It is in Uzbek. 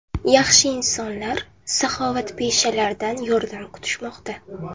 Yaxshi insonlar, saxovatpeshalardan yordam kutishmoqda!